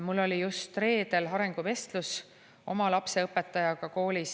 Mul oli just reedel koolis arenguvestlus oma lapse õpetajaga.